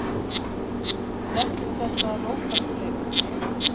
Nefnist þetta rótarfleygun.